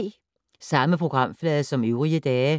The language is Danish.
Samme programflade som øvrige dage